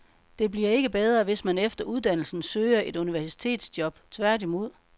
Det bliver ikke bedre, hvis man efter uddannelsen søger et universitetsjob, tværtimod.